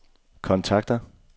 kontakter